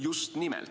Just nimelt.